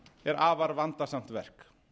er afar vandasamt verk